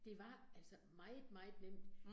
Det var altså meget meget nemt